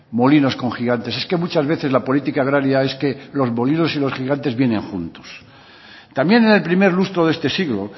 molinos con gigantes es que muchas veces la política agraria es que los molinos y los gigantes vienen juntos también en el primer lustro de este siglo